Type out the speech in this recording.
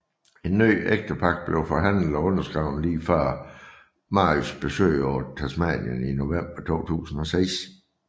En ny ægtepagt blev forhandlet og underskrevet lige før Marys besøg på Tasmanien i november 2006